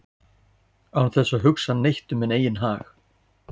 án þess að hugsa neitt um minn eigin hag